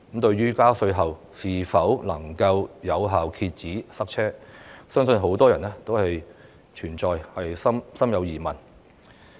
對於加稅是否能夠有效遏止塞車，相信很多人也心存疑問。